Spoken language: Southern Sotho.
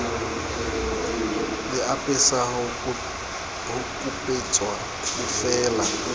le apesa ho kupetswe bofeela